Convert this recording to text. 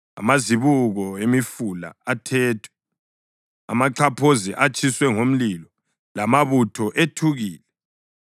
amazibuko emifula athethwe, amaxhaphozi atshiswe ngomlilo lamabutho ethukile.”